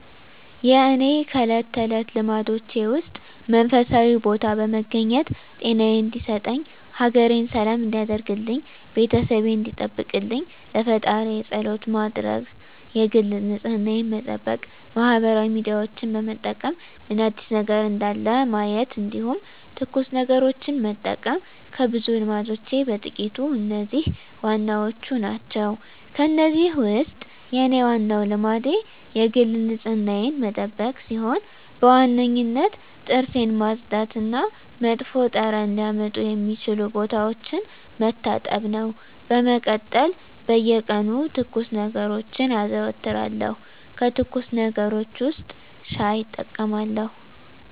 የእኔ ከእለት ተለት ልማዶቼ ውስጥ መንፈሳዊ ቦታ በመገኘት ጤናየን እንዲሰጠኝ፣ ሀገሬን ሰላም እንዲያደርግልኝ፣ ቤተሰቤን እንዲጠብቅልኝ ለፈጣሪየ ፀሎት መድረስ የግል ንፅህናየን መጠበቅ ማህበራዊ ሚዲያዎችን በመጠቀም ምን አዲስ ነገር እንዳለ ማየት እንዲሁም ትኩስ ነገሮችን መጠቀም ከብዙ ልማዶቼ በጥቂቱ እነዚህ ዋናዎቹ ናቸው። ከእነዚህ ውስጥ የኔ ዋናው ልማዴ የግል ንፅህናዬን መጠበቅ ሲሆን በዋነኝነት ጥርሴን ማፅዳት እና መጥፎ ጠረን ሊያመጡ የሚችሉ ቦታዎችን መታጠብ ነው። በመቀጠል በየቀኑ ትኩስ ነገሮችን አዘወትራለሁ ከትኩስ ነገሮች ውስጥ ሻይ እጠቀማለሁ።